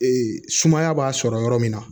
sumaya b'a sɔrɔ yɔrɔ min na